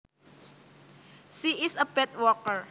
She is a bad worker